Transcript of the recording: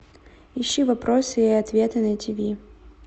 ищи вопросы и ответы на тв